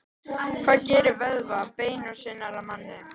Hvað gerir vöðva, bein og sinar að manni?